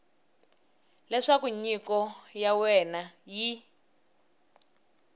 leswaku nyiko ya wena yi